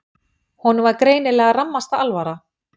Honum var greinilega rammasta alvara.